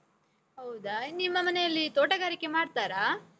ಹೌದ? ನಿಮ್ಮ ಮನೆಯಲ್ಲಿ ತೋಟಗಾರಿಕೆ ಮಾಡ್ತಾರಾ?